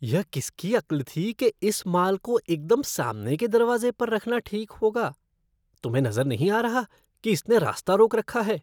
यह किसकी अक्ल थी कि इस माल को एकदम सामने के दरवाज़े पर रखना ठीक होगा? तुम्हें नज़र नहीं आ रहा कि इसने रास्ता रोक रखा है?